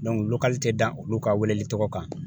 tɛ da olu ka welelitɔgɔ kan